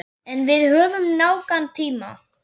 En við höfum nægan tíma.